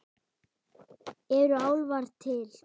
Eru álfar til?